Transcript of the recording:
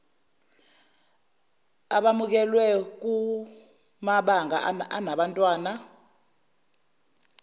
abamukelwe kumabanga anabantwana